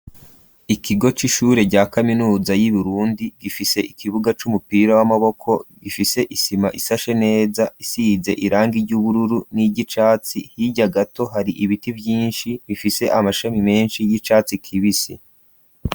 Ikigo c'ishure rya kaminuza y'uburundi gifise ikibuga c'umupira w'amaboko gifise isima isashe neza isize irangi ry'ubururu n'iry'icatsi ,hirya gato hari ibiti vyinshi bifise amashami menshi y'icatsi kibisi.